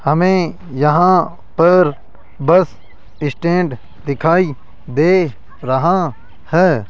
हमें यहां पर बस स्टैंड दिखाई दे रहा है।